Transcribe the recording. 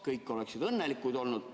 Kõik oleksid õnnelikud olnud.